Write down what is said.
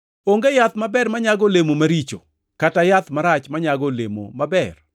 “Onge yath maber manyago olemo maricho, kata yath marach manyago olemo maber.